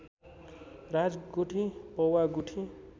राजगुठी पौवा गुठी